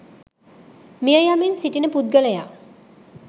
මිය යමින් සිටින පුද්ගලයා